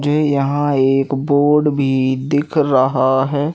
मुझे यहां एक बोर्ड भी दिख रहा है।